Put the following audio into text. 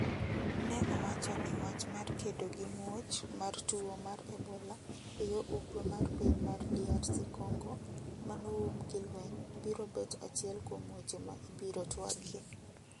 ne owacho ni wach mar kedo gi muoch mar tuo mar Ebola e yo ugwe mar piny mar DRC Congo mano um gi lweny biro bet achiel kuom weche ma ibiro twagie.